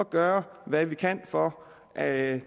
gøre hvad vi kan for at